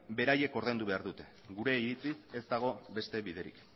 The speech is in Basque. beraiek ordaindu behar dute gure iritziz ez dago beste biderik